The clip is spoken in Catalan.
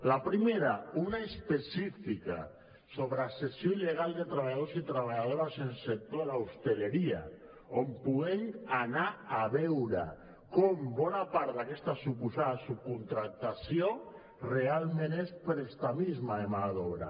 la primera una específica sobre la cessió il·legal de treballadors i treballadores en el sector de l’hostaleria on puguem anar a veure com bona part d’aquesta suposada subcontractació realment és prestamisme de mà d’obra